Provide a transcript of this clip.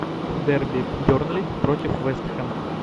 дерби бернли против вест хэм